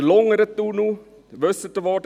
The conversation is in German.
Der Lungern-Tunnel – wissen Sie, wo?